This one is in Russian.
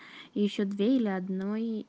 ещё две или одной